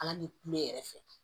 Ala ni ne yɛrɛ fɛ